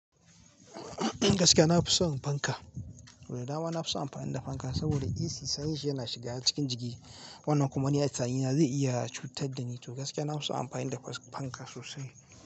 Gaskiya na fi son fanka. Da dama na fi son amfani da fanka saboda Ac, sanyin shi yana shiga cikin jiki. Wannan kuma ni a tunani na zai iya cutar da ni to gaskiya na fi son amfani da fanka sosai.